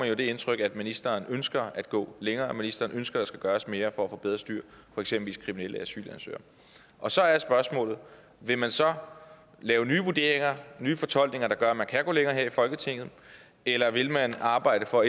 jo det indtryk at ministeren ønsker at gå længere at ministeren ønsker at der skal gøres mere for at få bedre styr på eksempelvis kriminelle asylansøgere og så er spørgsmålet vil man så lave nye vurderinger nye fortolkninger der gør at man kan gå længere her i folketinget eller vil man arbejde for